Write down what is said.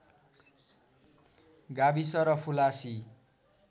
गाविस र फुलासी